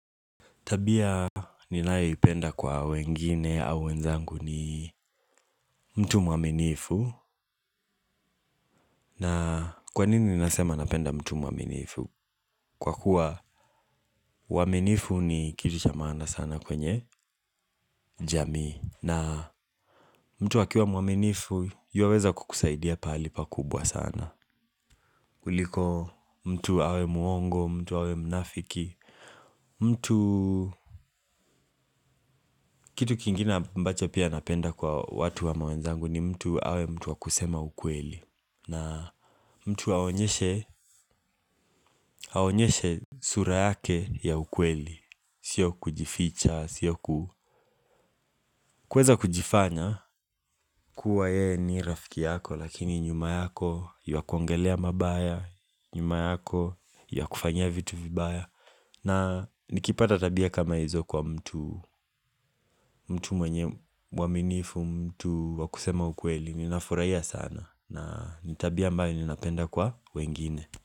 Tabia ninayoipenda kwa wengine au wenzangu ni mtu mwaminifu. Na kwa nini nasema napenda mtu mwaminifu? Kwa kuwa, uwaminifu ni kitu cha maana sana kwenye jamii. Na mtu akiwa mwaminifu, yuwaweza kukusaidia pahali pakubwa sana. Kuliko mtu awe muongo, mtu awe mnafiki, mtu kitu kingine ambacho pia napenda kwa watu wa ama wenzangu ni mtu awe mtu wakusema ukweli. Na mtu aonyeshe sura yake ya ukweli. Sio kujificha, sio kuweza kujifanya. Kuwa yeye ni rafiki yako lakini nyuma yako yuakuongelea mabaya. Nyuma yako yuwakufanyia vitu vibaya. Na nikipata tabia kama hizo kwa mtu mwenye mwaminifu mtu wakusema ukweli ninafurahiya sana na nitabia ambayo ninapenda kwa wengine.